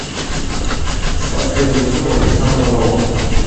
сказка режиссера александра роу